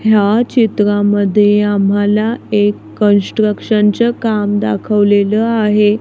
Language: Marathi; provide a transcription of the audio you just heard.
ह्या चित्रामध्ये आम्हाला एक कन्स्ट्रक्शनच काम दाखवलेल आहे.